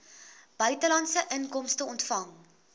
buitelandse inkomste ontvang